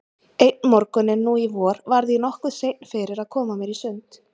Einn morguninn nú í vor varð ég nokkuð seinn fyrir að koma mér í sund.